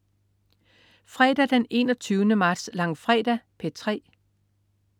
Fredag den 21. marts. Langfredag - P3: